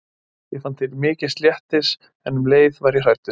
Ég fann til mikils léttis en um leið var ég hrædd.